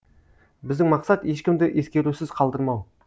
біздің мақсат ешкімді ескерусіз қалдырмау